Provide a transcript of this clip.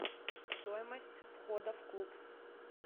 стоимость входа в клуб